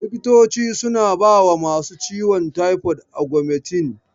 Likitoci suna bawa masu ciwon taifod Augmentin.